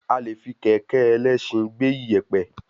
A le fi kẹ̀kẹ́ ẹlẹsin gbé ìyèpẹ̀